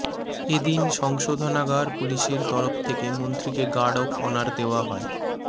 এদিন সংশোধনাগার পুলিশের তরফ থেকে মন্ত্রীকে গার্ড অফ অনার দেওয়া হয়